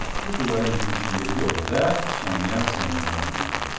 Bu divarın bitişiyindəki otaqda Sonya Semyonovnanın otağı.